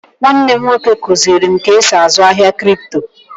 Nwanne m nwoke kụzịrị m ka esi azụ ahia krypto